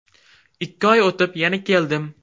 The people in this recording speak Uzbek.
Ikki oy o‘tib, yana keldim.